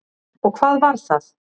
Og hvað var það?